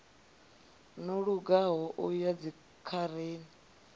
no lugaho u ya dzikhareni